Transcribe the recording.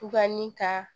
Tubabu ka